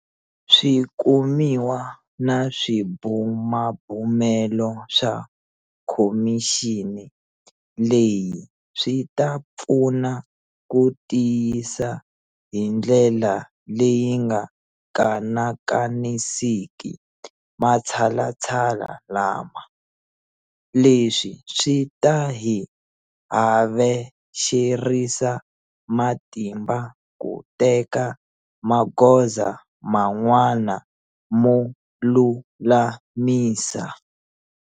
Swikumiwa na swibumabumelo swa khomixini leyi swi ta pfuna ku tiyisa hi ndlela leyi nga kanakanisiki matshalatshala lama. Leswi swi ta hi havexerisa matimba ku teka magoza man'wana mo lulamisa.